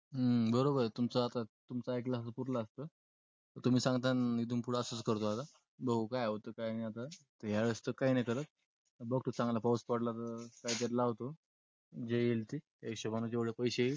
हम्म बरोबर ए तुमच आता तुमच एकल असत तर पुरल असत. तुम्ही सगतय ना इथून पुढ असच करतो आता. बघू काय होतय काय नि आता. या वेळेस तर काय नई करत. बगतो चांगला पाऊस पडला तर काय तर लावतो जे यईल ते त्या हिशोबा ने जेवडे पैसे येईल ते